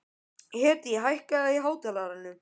Hedí, hækkaðu í hátalaranum.